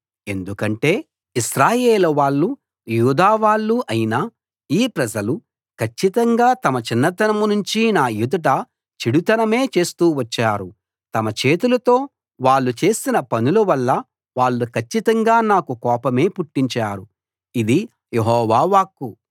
ఎందుకంటే ఇశ్రాయేలు వాళ్ళు యూదా వాళ్ళు అయిన ఈ ప్రజలు కచ్చితంగా తమ చిన్నతనం నుంచి నా ఎదుట చెడుతనమే చేస్తూ వచ్చారు తమ చేతులతో వాళ్ళు చేసిన పనుల వల్ల వాళ్ళు కచ్చితంగా నాకు కోపమే పుట్టించారు ఇది యెహోవా వాక్కు